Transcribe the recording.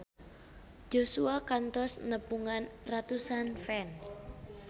Joshua kantos nepungan ratusan fans